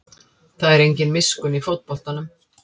Það er engin miskunn í fótboltanum